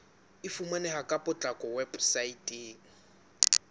e fumaneha ka potlako weposaeteng